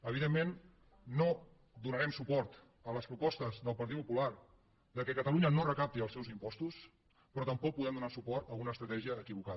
evidentment no donarem suport a les propostes del partit popular que catalunya no recapti els seus impostos però tampoc podem donar suport a una estratègia equivocada